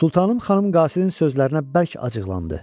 Sultanım xanım qasidin sözlərinə bərk acıqlandı.